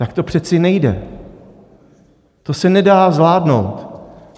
Tak to přece nejde, to se nedá zvládnout.